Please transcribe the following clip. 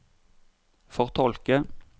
fortolke